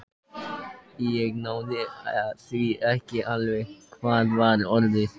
Ég náði því ekki alveg: hvað var orðið?